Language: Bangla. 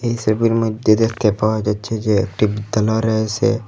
এই সবির মইধ্যে দেখতে পাওয়া যাচ্ছে যে একটি বিদ্যালয় রয়েসে।